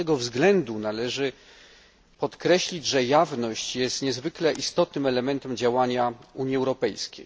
Dlatego trzeba podkreślić, że jawność jest niezwykle istotnym elementem działania Unii Europejskiej.